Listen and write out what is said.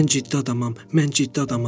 Mən ciddi adamam, mən ciddi adamam.